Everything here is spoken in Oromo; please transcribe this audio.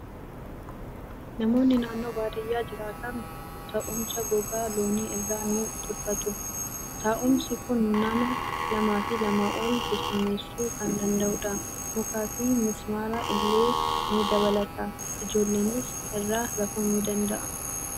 Namoonni naannoo baadiyyaa jiraatan taa'umsa gogaa loonii irraa ni tolfatu. Taa'umsi kun nama lamaa fi lamaa ol keessummeessuu kan danda'udha. Mukaa fi mismaara illee ni dabalata. Ijoollonnis irra rafuu ni danda'u.